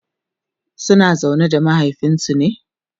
suna zaune da mahaifinsu ne?